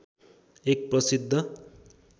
एक प्रसिद्ध